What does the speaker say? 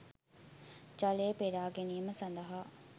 ජලය පෙරා ගැනීම සඳහා